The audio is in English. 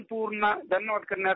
"